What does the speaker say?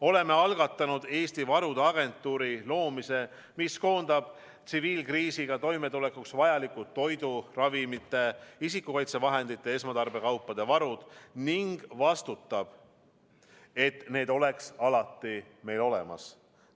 Oleme algatanud Eesti varude agentuuri loomise, mis koondab tsiviilkriisiga toimetulekuks vajalikud toidu, ravimite, isikukaitsevahendite ja esmatarbekaupade varud ning vastutab, et need oleks alati meil olemas.